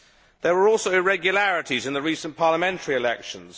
There were also irregularities in the recent parliamentary elections.